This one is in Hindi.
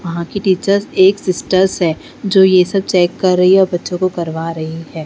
वहां की टीचर एक सिस्टर्स है जो ये सब चेक कर रही है और बच्चों को करवा रही है।